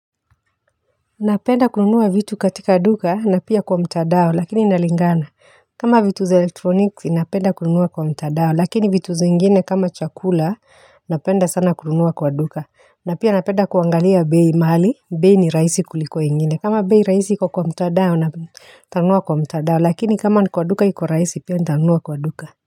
Napenda kununuwa vitu katika duka na pia kwa mtandao lakini inalingana. Kama vitu za elektronikzi napenda kununuwa kwa mtandao lakini vitu za zingine kama chakula napenda sana kulunuwa kwa duka. Napenda kuangalia bei mahali, bei ni rahisi kuliko ingine. Kama bei rahisi iko kwa mtandao nitanunua kwa mtandao lakini kama kwa duka iko rahisi pia nitanunua kwa duka.